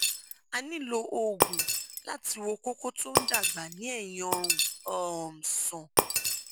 a nílò oògùn láti wo kókó tó ń dàgbà ní ẹyìn ọrùn um sàn